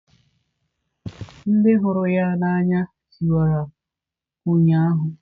Ndị hụrụ ya n'anya tiwara ụnyaahụ.